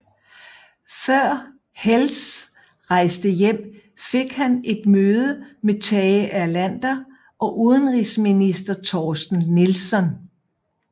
Før Health rejste hjem fik han et møde med Tage Erlander og udenrigsminister Torsten Nilsson